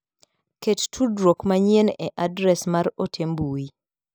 Ket tudruok manyien e adres mar ote mbui.